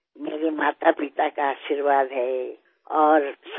এয়া আপোনাৰ বিনম্ৰতা যি আমাৰ নতুন প্ৰজন্মৰ বাবে শিক্ষাৰ বিষয় হৈ উঠিব পাৰে